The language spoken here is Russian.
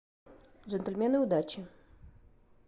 джентльмены удачи